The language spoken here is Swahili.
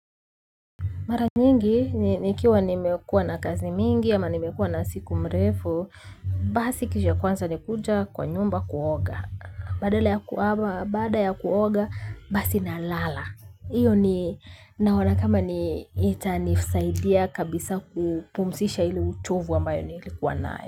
Mara nyingi, nikiwa nimekuwa na kazi mingi, ama nimekuwa na siku mrefu, basi kitu cha kwanza ni kuja kwa nyumba kuoga. Baada ya kuoga, basi na lala. Iyo ni, naona kama ni itanisaidia kabisa kupumzisha ile uchovu ambayo nilikuwa nayo.